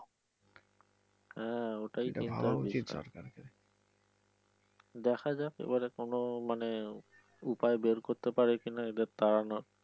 হ্যা ওটাই কিন্তু চিন্তার বিষয় দেখা যাক এবারে কোন মানে উপায় বের করতে পারে কিনা এদের তাড়ানোর।